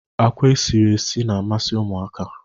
Akwa e siri esi na-amasi ụmụaka.